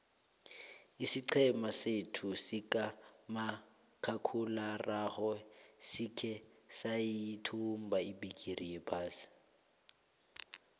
isiqhema sethu sikamakhakhulararhwe sikhe sayithumba ibhigiri yephasi